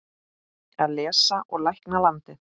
Að lesa og lækna landið.